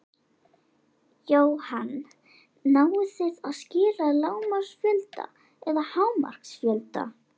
Jóhann: Náið þið að skila lágmarksfjölda eða hámarksfjölda?